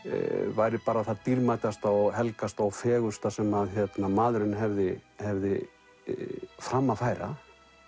væri bara það dýrmætasta og helgasta og fegursta sem maðurinn hefði hefði fram að færa